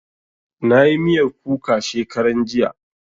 Na yi miyar kuka shekaran jiya